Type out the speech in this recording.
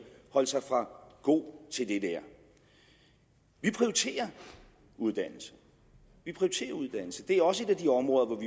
holde sig for god til det der vi prioriterer uddannelse vi prioriterer uddannelse det er også et af de områder hvor